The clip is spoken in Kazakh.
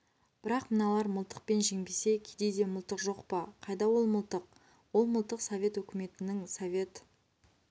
бірақ мыналар мылтықпен жеңбесе кедейде мылтық жоқ па қайда ол мылтық ол мылтық совет өкіметінің совет